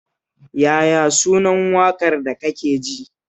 Yaya sunan waƙar da kake ji?